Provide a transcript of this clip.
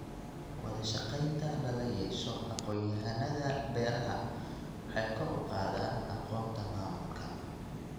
Wadashaqeynta lala yeesho aqoonyahannada beeraha waxay kor u qaadaan aqoonta maamulka.